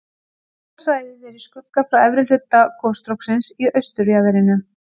dökka svæðið er í skugga frá efri hluta gosstróksins í austurjaðrinum